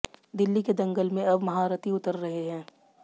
दिल्ली के दंगल में अब महारथी उतर रहे हैं